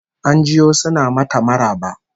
An jiyo suna mata maraba